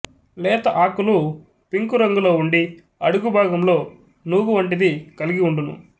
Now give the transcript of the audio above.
లేత ఆకులు పింకురంగులో వుండి అడుగుభాగంలో నూగు వంటిది కల్గివుండును